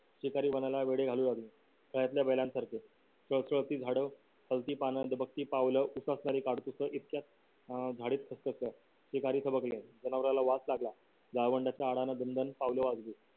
शिकारी वनाला वेढे घालू लागले खेळातल्या बैलांसारखे झाड हलती पान दबकती पावलं उकसणारी काडतूस इतक्यात अं झाड जनावराला वास लागला दनदन पावलं वाजली